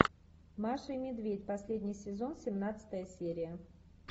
маша и медведь последний сезон семнадцатая серия